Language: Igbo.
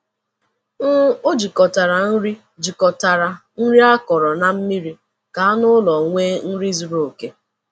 um O jikọtara nri jikọtara nri akọrọ na mmiri ka anụ ụlọ nwee nri zuru oke.